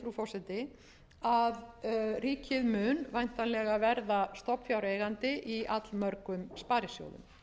forseti að ríkið mun væntanlega verða stofnfjáreigandi í allmörgum sparisjóðum